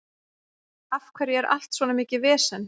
Af hverju er allt svona mikið vesen?